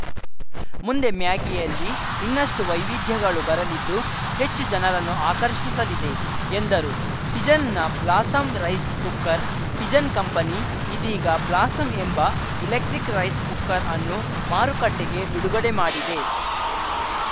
ಮುಂದೆ ಮ್ಯಾಗಿಯಲ್ಲಿ ಇನ್ನಷ್ಟು ವೈವಿಧ್ಯಗಳು ಬರಲಿದ್ದು ಹೆಚ್ಚು ಜನರನ್ನು ಆಕರ್ಷಿಸಲಿದೆ ಎಂದರು ಪಿಜನ್‌ನ Blossom rice cooker Pigeon company ಇದೀಗ ಬ್ಲಾಸಂ ಎಂಬ ಎಲೆಕ್ಟ್ರಿಕ್‌ ರೈಸ್‌ ಕುಕ್ಕರ್‌ ಅನ್ನು ಮಾರುಕಟ್ಟೆಗೆ ಬಿಡುಗಡೆ ಮಾಡಿದೆ